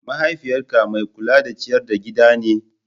Mahaifiyyarka mai kula da ciyar da gida ne?